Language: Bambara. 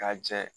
K'a jɛ